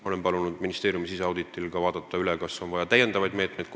Olen palunud ministeeriumi siseauditi käigus üle vaadata, kas on vaja kohaldada lisameetmeid.